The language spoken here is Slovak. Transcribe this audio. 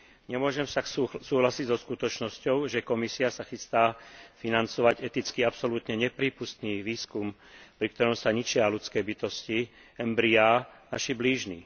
Nemôžem však súhlasiť so skutočnosťou, že Komisia sa chystá financovať eticky absolútne neprípustný výskum, pri ktorom sa ničia ľudské bytosti embryá naši blížni.